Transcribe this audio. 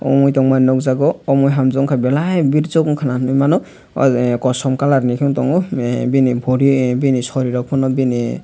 omo tong mani ang nuk jago omo hanjoka belai ber chok unka nugui mano aw kosom kalar ni tongo bini sorry rok pano bini.